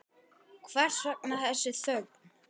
Hvers vegna þessi þögn?